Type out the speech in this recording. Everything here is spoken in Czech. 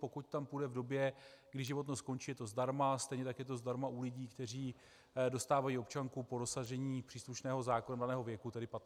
Pokud tam půjde v době, kdy životnost končí, je to zdarma, stejně tak je to zdarma u lidí, kteří dostávají občanku po dosažení příslušného zákonem daného věku, tedy 15 let.